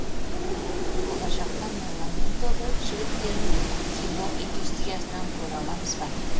болашақта меломен тобы жігіттерін кино индустрисынан көре аламыз ба